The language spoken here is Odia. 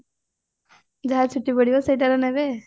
ଯାହା ଛୁଟି ପଡିବ ସେଇଟାର ନେବେ